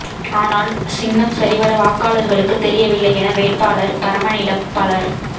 ஆனால் சின்னம் சரிவர வாக்காளர்களுக்கு தெரியவில்லை என வேட்பாளர் பரமனிடம் பலர்